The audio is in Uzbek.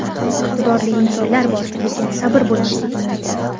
Iqtidorli insonlar bor, lekin sabr bo‘lmasligi mumkin.